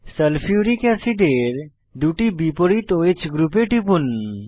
sulphuric অ্যাসিডের দুটি বিপরীত ওহ গ্রুপে টিপুন